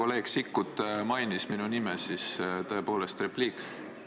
Kuna kolleeg Sikkut mainis minu nime, siis tõepoolest repliik.